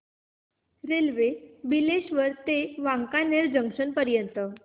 railway Bileshwar ते Wankaner junction पर्यंत